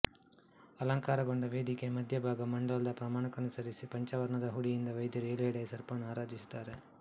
ಅಲಂಕಾರಗೊಂಡ ವೇದಿಕೆಯ ಮಧ್ಯಭಾಗ ಮಂಡಲದ ಪ್ರಮಾಣಕ್ಕನುಸರಿಸಿ ಪಂಚವರ್ಣದ ಹುಡಿಯಿಂದ ವೈದ್ಯರು ಏಳುಹೆಡೆಯ ಸರ್ಪವನ್ನು ಆರಾಧಿಸುತ್ತಾರೆ